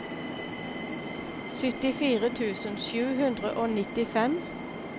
syttifire tusen sju hundre og nittifem